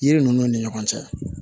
Yiri ninnu ni ɲɔgɔn cɛ